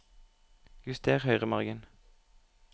Juster høyremargen